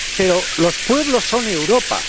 Pero los pueblos son Europa.